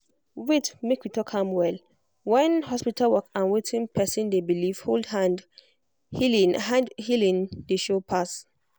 wait make we talk am well when hospital work and wetin person dey believe hold hand healing hand healing dey sure pass.